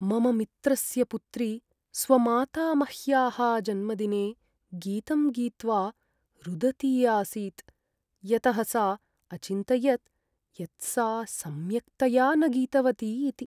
मम मित्रस्य पुत्री स्वमातामह्याः जन्मदिने गीतं गीत्वा रुदती आसीत् यतः सा अचिन्तयत् यत् सा सम्यक्तया न गीतवती इति।